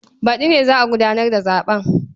Baɗi ne za a gudanar da zaɓen.